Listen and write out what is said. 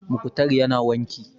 Mukhtar ya na wanki